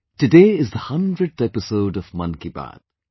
Today is the hundredth episode of 'Mann Ki Baat'